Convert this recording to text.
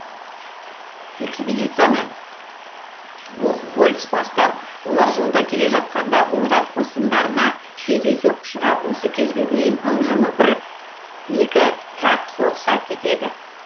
экспедицияны бухгольц бастап олар жолда келе жатқанда ойрат қосындарына кездейсоқ ұшырап осы кезге дейін ым жымы бір екі жақ соғыса кетеді